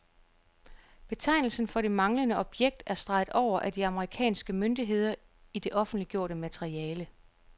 Betegnelsen for det manglende objekt er streget over af de amerikanske myndigheder i det offentliggjorte materiale.